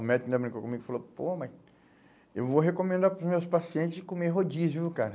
O médico ainda brincou comigo e falou, pô, mas eu vou recomendar para os meus pacientes comer rodízio, viu, cara?